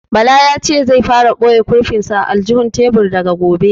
Bala ya ce zai fara ɓoye kurfin sa a aljihun tebur daga gobe